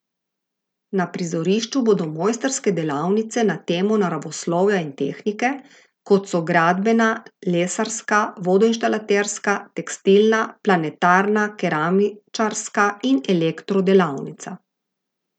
Na prizorišču bodo mojstrske delavnice na temo naravoslovja in tehnike, kot so gradbena, lesarska, vodoinštalaterska, tekstilna, planetarna, keramičarska in elektro delavnica.